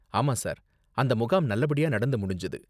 ஆமா சார், அந்த முகாம் நல்லபடியா நடந்து முடிஞ்சது.